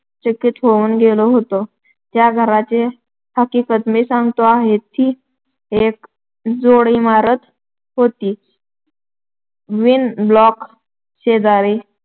चकित होऊन गेलो होतो. ज्य घराची हकीकत मी सांगतो आहे, ती एक जोडइमारत होती. twin block शेजारी